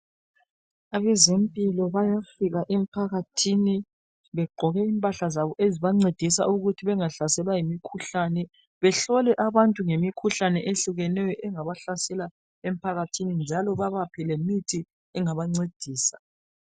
Abezempilakahle bayafika emphakathini begqoke impahla zabo ezibancedisa ukuthi bengahlaselwa yimikhuhlane behlole abantu ngemikhuhlane ehlukeneyo engabahlasela emphakathini njalo bebaphe lemithi engabancedisa.